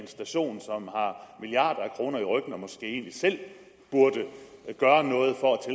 station som har milliarder af kroner i ryggen og måske egentlig selv burde gøre noget for at